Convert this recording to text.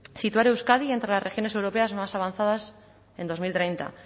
situar a euskadi entre las regiones europeas más avanzadas en dos mil treinta